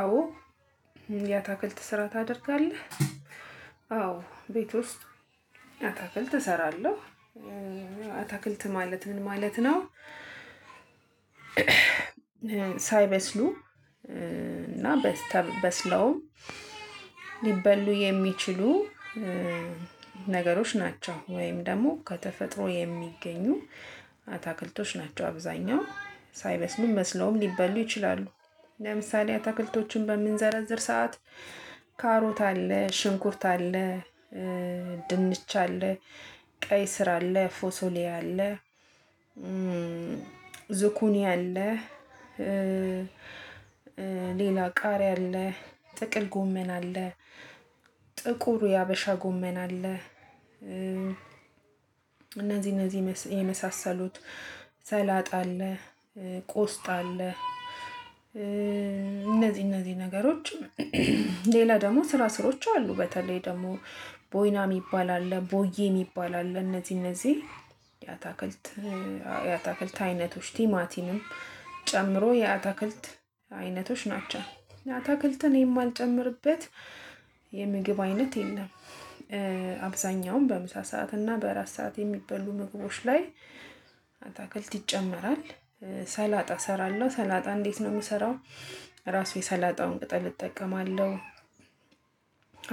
አዎ ያታክልት ስራ ታደርጋለህ? አዎ ቤት ውስጥ አታክልት እሰራለሁ። እ አታክልት ማለት ምን ማለት ነው? ሳይበስሉ እ እና በስ ተበስለውም ሊበሉ የሚችሉ እ ነገሮች ናቸው። ወይም ደግሞ ከተፈጥሮ የሚገኙ አታክልቶች ናቸው አብዛኛው ሳይበስሉም በስለውም ሊበሉ ይችላሉ። ለምሳሌ አትክልቶቹን በምንዘረዝር ሰዓት ካሮት አለ ሽንኩርት አለ እ ድንች አለ ቀይ ስር አለ ፎሶሊያ አለ እ ዙኩኒያ አለ እ ሌላ ቃሪ አለ ጥቅል ጎመን አለ ጥቁር የሀበሻ ጎመን አለ እ እነዚህ እነዚህ የመሳሰሉት ሰላጣ አለ እ ቆስጣ አለ እነዚህ እነዚህ ነገሮችም ሌላ ደግሞ ስራ ስሮች አሉ በተለይ ደግሞ ቦይና የሚባል አለ ቦዬ የሚባል አለ እነዚህ እነዚህ የአታክልት የአታክልት አይነቶች ቲማቲንም ጨምሮ የአትክልት አይነቶች ናቸው። ለምሳሌ አትክልቶቹን በምንዘረዝር ሰዓት ካሮት አለ ሽንኩርት አለ ድንች አለ ቀይ ስር አለ ፎሶሊያ አለ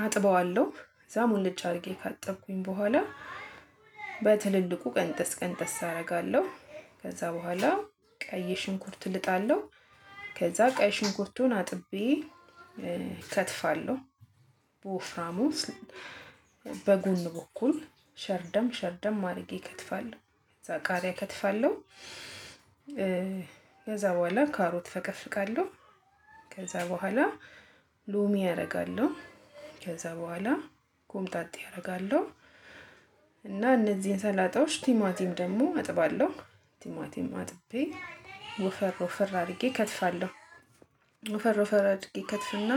አጥበዋለሁ ከዛ ሙሉጭ አድርጌ ካጠብኩኝ በኋላ በትልልቁ ቀንጠስ ቀንጠስ አደርጋለሁ ከዛ በኋላ ቀይ ሽንኩርት ልጣለሁ ከዛ ቀይ ሽንኩርቱን አጥቤ እ እከትፋለሁ በወፍራሙ በጎን በኩል ሸርደም ሸርደም አድርጌ እከትፋለሁ ከዛ ቃሪያ እከትፋለሁ እ ከዛ በኋላ ካሮት እፈቀፍቃለሁ ከዛ በኋላ ሎሚ ያደርጋለሁ ከዛ በኋላ ኮምጣጤ አደርጋለሁ እና እነዚህን ሰላጣዎች ቲማቲም ደግሞ አጥባለሁ ቲማቲም አጥቤ ወፈር ወፈር አድርጌ እከትፋለሁ ወፈር ወፈር አድርጌ እከትፍና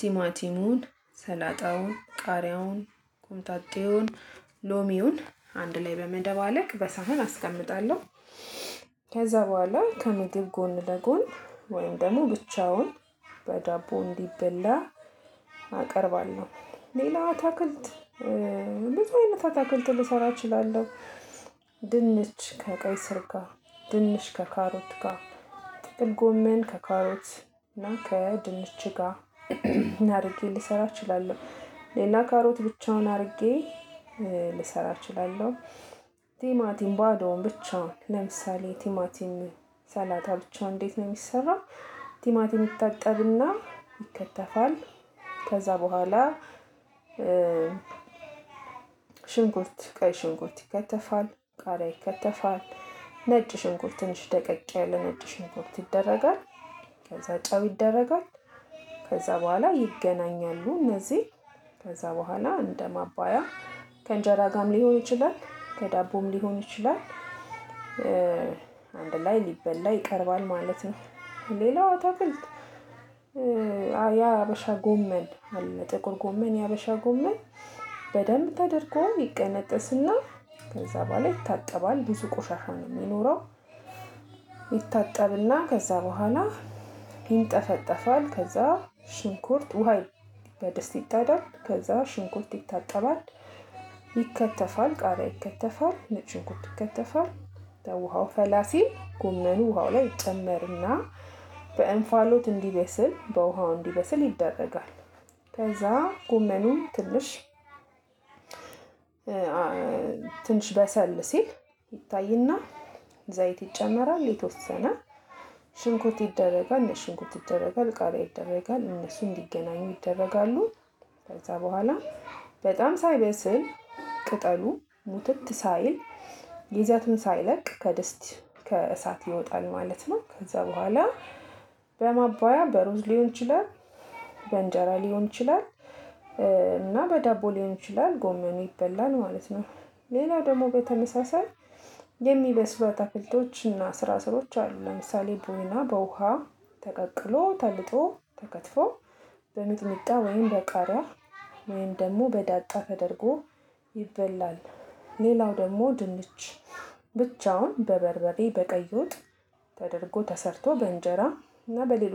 ቲማቲሙን ሰላጣውን ቃሪያውን ቁምጣጤውን ሎሚውን አንድ ላይ በመደባለቅ በሳሃን አስቀምጣለሁ ከዛ በኋላ ከምግብ ጎን ለጎን ወይም ደግሞ ብቻውን በዳቦ እንዲበላ አቀርባለሁ። ሌላ አታክልት ብዙ አይነት አታክልት ልሰራ እችላለሁ ድንች ከቀይ ስር ጋር ድንች ከካሮት ጋር ጥቅል ጎሜን ከካሮት እና ከድንች ጋር እናድርጌ ልሰራ እችላለሁ። ሌላ ካሮት ብቻውን አድርጌ እ ልሰራ እችላለሁ ቲማቲም ባዶውን ብቻ ለምሳሌ ቲማቲም ሰላጣ ብቻውን እንዴት ነው የሚሰራው ቲማቲም ይታጠብና ይከተፋል ከዛ በኋላ እ ሽንኩርት ቀይ ሽንኩርት ይከተፋል ቃሪያ ይከተፋል ነጭ ሽንኩርት ትንሽ ደቀቅ ያለ ነጭ ሽንኩርት ይደረጋል ከዛ ጨው ይደረጋል ከዛ በኋላ ይገናኛሉ እነዚህ ከዛ በኋላ እንደ ማባያ ከእንጀራ ጋርም ሊሆን ይችላል ከዳቦም ሊሆን ይችላል እ አንድ ላይ ሊበላ ይቀርባል ማለት ነው። ሌላው አታክልት እ የ ሀበሻ ጎመን ጥቁር ጎመን የ ሀበሻ ጎመን በደንብ ተደርጎ ይቀነጥስና ከዛ በኋላ ይታጠባል ብዙ ቆሻሻ ነው የሚኖረው ይታጠብና ከዛ በኋላ ይንጠፈጠፋል ከዛ ሽንኩርት ውሃ በደስት ይጣዳል ከዛ ሽንኩርት ይታጠባል ይከተፋል ቃሪያ ይከተፋል ነጭ ሽንኩርት ይከተፋል ከዛ የውሃው ፈላ ሲል ጉመኑ ውሃው ላይ ጨመርና በእንፋሎት እንዲበስል በውሃው እንዲበስል ይደረጋል። ከዛ ጉመኑን ትንሽ በሰል ሲል ይታይና ዘይት ይጨመራል የተወሰነ ሽንኩርት ይደረጋል ነጭ ሽንኩርት ይደረጋል ቃሪያ ይደረጋል እነሱ እንዲገናኙ ይደረጋሉ ከዛ በኋላ በጣም ሳይበስል ቅጠሉ ሙትት ሳይል ይዘቱን ሳይለቅ ከደስት ከእሳት ይወጣል ማለት ነው ከዛ በኋላ በማባያ በሩዝ ሊሆን ይችላል በንጀራ ሊሆን ይችላል እና በዳቦ ሊሆን ይችላል ጎመኑ ይበላል ማለት ነው። ሌላ ደግሞ በተመሳሳይ የሚበስሉ አታክልቶች እና ስራ ስሮች አሉ ለምሳሌ ቡና በውሃ ተቀቅሎ ተልጦ ተከትፎ በሚጥሚጣ ወይም በቃሪያ ወይም ደግሞ በዳጣ ተደርጎ ይበላል ሌላው ደግሞ ድንች ብቻውን በበርበሬ በቀይ ወጥ ተደርጎ ተሰርቶ በእንጀራ እና በሌሎች